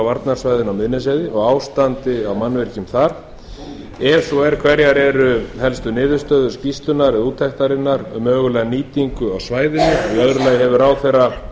á miðnesheiði og ástand mannvirkja þar og ef svo er hverjar eru helstu niðurstöður hennar um mögulega nýtingu svæðisins annars hefur ráðherra